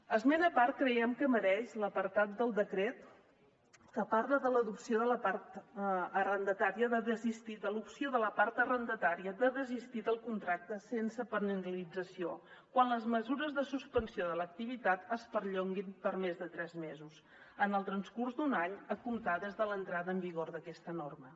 esment a part creiem que mereix l’apartat del decret que parla de l’opció de la part arrendatària de desistir del contracte sense penalització quan les mesures de suspensió de l’activitat es perllonguin per més de tres mesos en el transcurs d’un any a comptar des de l’entrada en vigor d’aquesta norma